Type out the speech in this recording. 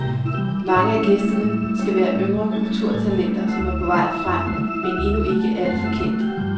Mange af gæsterne skal være yngre kulturtalenter, som er på vej frem, men endnu ikke alt for kendte.